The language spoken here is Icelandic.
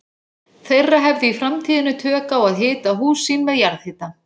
þeirra hefðu í framtíðinni tök á að hita hús sín með jarðhita.